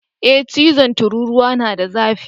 Ee chizon tururuwa yana da zafi.